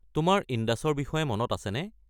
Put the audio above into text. তোমাৰ ইণ্ডাছৰ বিষয়ে মনত আছেনে?